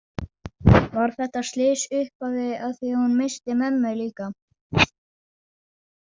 Var þetta slys upphafið að því að hún missti mömmu líka?